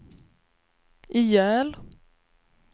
ihjäl